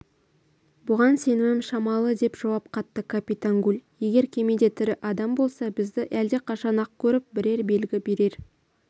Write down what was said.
бұған сенімім шамалы деп жауап қатты капитан гульегер кемеде тірі адам болса бізді әлдеқашан-ақ көріп бірер белгі берер